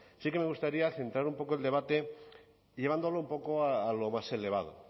sí que me gustaría centrar un poco el debate llevándolo un poco a lo más elevado